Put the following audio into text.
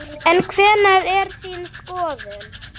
En hver er þín skoðun?